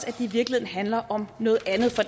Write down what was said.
det i virkeligheden handler om noget andet for